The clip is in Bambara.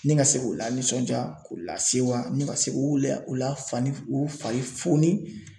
Ne ka se k'o la nisɔnja k'o lase wa ne ka se k'o la fani o fari foni